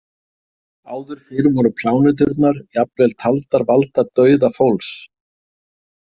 Áður fyrr voru pláneturnar jafnvel taldar valda dauða fólks.